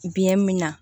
Biɲɛ min na